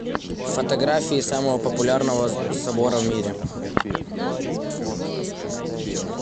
фотографии самого популярного собора в мире